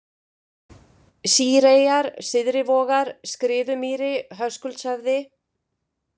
Sýreyjar, Syðrivogar, Skriðumýri, Höskuldshöfði